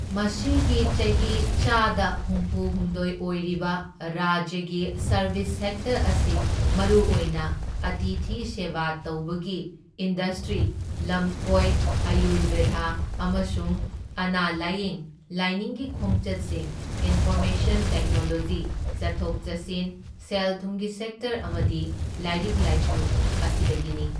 ꯃꯁꯤꯒꯤ ꯆꯍꯤꯒꯤ ꯆꯥꯗ ꯍꯨꯝꯐꯨꯍꯨꯝꯗꯣꯢ ꯑꯣꯏꯔꯤꯕ ꯔꯥꯖ꯭ꯌꯒꯤ ꯁꯔꯚꯤꯁ ꯁꯦꯛꯇꯔ ꯑꯁꯤ ꯃꯔꯨ ꯑꯣꯏꯅ ꯑꯇꯤꯊꯤ ꯁꯦꯕꯥ ꯇꯧꯕꯒꯤ ꯏꯟꯗꯁꯇ꯭ꯔꯤ, ꯂꯝꯀꯣꯏ, ꯑꯥꯌꯨꯔꯕꯦꯗ ꯑꯃꯁꯨꯡ ꯑꯅꯥ ꯂꯥꯏꯌꯦꯡ, ꯂꯥꯏꯅꯤꯡꯒꯤ ꯈꯣꯡꯆꯠꯁꯤꯡ, ꯏꯟꯐꯣꯔꯃꯦꯁꯟ ꯇꯦꯛꯅꯣꯂꯣꯖꯤ, ꯆꯠꯊꯣꯛ ꯆꯠꯁꯤꯟ, ꯁꯦꯜꯊꯨꯝꯒꯤ ꯁꯦꯛꯇꯔ ꯑꯃꯗꯤ ꯂꯥꯏꯔꯤꯛ ꯂꯥꯏꯁꯨ ꯑꯁꯤꯗꯒꯤꯅꯤ꯫